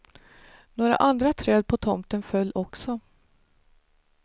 Några andra träd på tomten föll också.